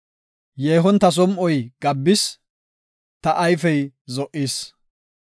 Yeehon ta som7oy gabbis; ta ayfey zo77is.